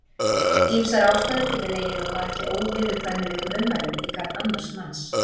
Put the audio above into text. ýmsar ástæður geta legið að baki óviðurkvæmilegum ummælum í garð annars manns